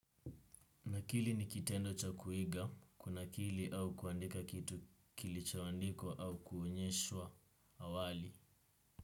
Kunakili ni kitendo cha kuiga, kunakili au kuandika kitu kilichoandikwa au kuonyeshwa awali.